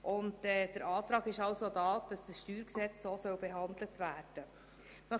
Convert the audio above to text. Der Antrag steht, dass das StG so behandelt werden soll.